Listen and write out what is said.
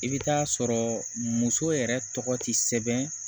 I bɛ taa sɔrɔ muso yɛrɛ tɔgɔ tɛ sɛbɛn